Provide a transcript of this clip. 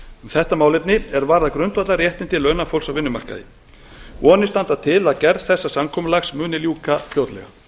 þetta málefni er varðar grundvallarréttindi launafólks á vinnumarkaði vonir standa til að gerð þessa samkomulags muni ljúka fljótlega